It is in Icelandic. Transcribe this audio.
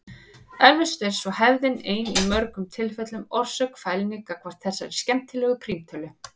Eflaust er svo hefðin ein í mörgum tilfellum orsök fælni gagnvart þessari skemmtilegu prímtölu.